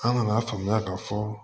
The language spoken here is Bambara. An ŋan'a faamuya ka fɔ